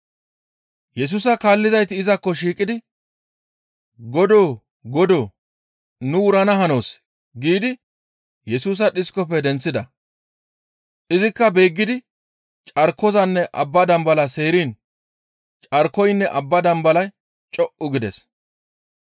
Yesusa kaallizayti izakko shiiqidi, «Godoo! Godoo! Nu wurana hanoos» giidi Yesusa dhiskofe denththida. Izikka beeggidi carkozanne abba dambalaa seeriin carkoynne abbaa dambalay co7u gides.